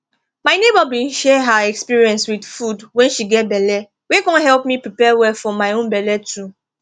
my neighbor bin share her experience with food wen she get belle wey con help me prepare well for my own belle too